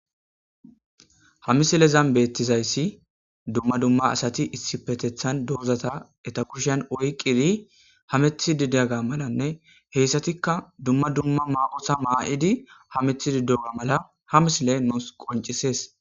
Ha misilezan beettizayssi dumma dumma asati issipetethan doozata eta kushan oyqidi hamettidi diyagga malanne heyssatikka dumma dumma ma7ota maa7idi hamettididiyoga mala ha misile nusi qoncisees.